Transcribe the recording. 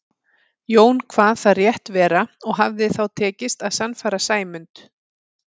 Jón kvað það rétt vera og hafði þá tekist að sannfæra Sæmund.